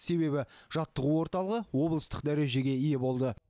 себебі жаттығу орталығы облыстық дәрежеге ие болды